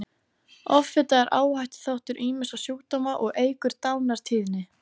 Offita er áhættuþáttur ýmissa sjúkdóma og eykur dánartíðni.